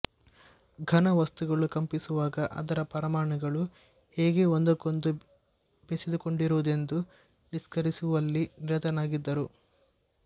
ಘನವಸ್ತುಗಳು ಕಂಪಿಸುವಾಗ ಅದರ ಪರಮಾಣುಗಳು ಹೇಗೆ ಒಂದಕ್ಕೊಂದು ಬೆಸೆದುಕೊಂಡಿರುವುದೆಂದು ನಿಷ್ಕರ್ಷಿಸುವಲ್ಲಿ ನಿರತನಾಗಿದ್ದರು